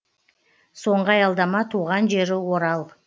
соңғы аялдама туған жері орал